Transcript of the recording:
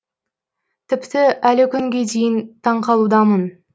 тіпті әлі күнге дейін таңқалудамын